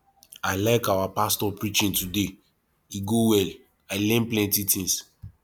i like our pastor preaching today e go well i learn plenty things